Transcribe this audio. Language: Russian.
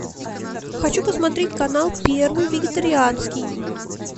хочу посмотреть канал первый вегетарианский